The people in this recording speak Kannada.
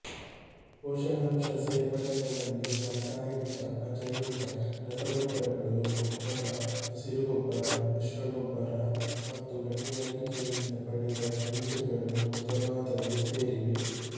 ಪೋಷಕಾಂಶ ಸೇರ್ಪಡೆಗಳಲ್ಲಿ ರಾಸಾಯನಿಕ ಅಜೈವಿಕ ರಸಗೊಬ್ಬರಗಳು ಗೊಬ್ಬರ ಹಸಿರು ಗೊಬ್ಬರ ಮಿಶ್ರಗೊಬ್ಬರ ಮತ್ತು ಗಣಿಗಾರಿಕೆಯಿಂದ ಪಡೆದ ಖನಿಜಗಳು ಮೊದಲಾದವು ಸೇರಿವೆ